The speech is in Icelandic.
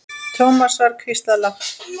Thomas var hvíslað lágt.